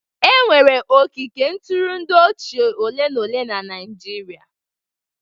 E nwere ogige ntụrụndụ ochie ole na ole na Naịjirịa.